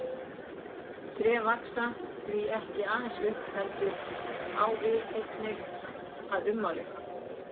Tré vaxa því ekki aðeins upp á við heldur einnig að ummáli.